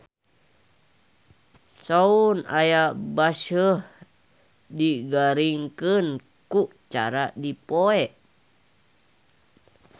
Soun anu baseuh digaringkeun ku cara dipoe.